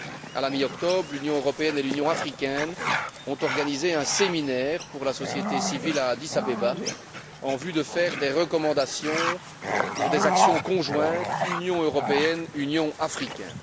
À la mi octobre, l'Union européenne et l'Union africaine ont organisé un séminaire pour la société civile à Addis Abeba, en vue de faire des recommandations pour des actions conjointes Union européenne Union africaine.